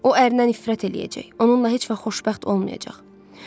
O ərnən nifrət eləyəcək, onunla heç vaxt xoşbəxt olmayacaq.